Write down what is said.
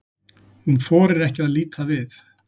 Hún þorir ekki að líta við.